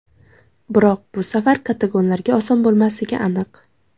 Biroq bu safar katalonlarga oson bo‘lmasligi aniq.